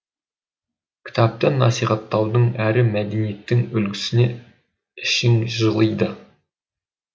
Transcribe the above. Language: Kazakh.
кітапты насихаттаудың әрі мәдениеттің үлгісіне ішің жылиды